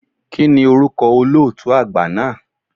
Kíni orúkọ olóòtú àgbà náà?